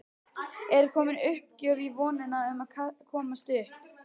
Er komin uppgjöf í vonina um að komast upp?